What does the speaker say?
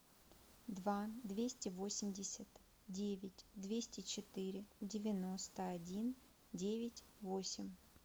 два двести восемьдесят девять двести четыре девяносто один девять восемь